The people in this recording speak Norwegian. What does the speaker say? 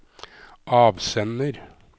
avsender